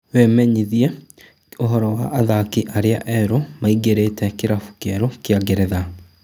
Wĩmenyithie ũhoro wa athaki arĩa erũ maingĩrĩte kĩrabu kĩerũ kĩa Ngeretha.